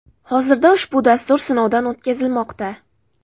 Hozirda ushbu dastur sinovdan o‘tkazilmoqda.